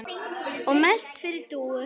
Og mest yfir Dúu.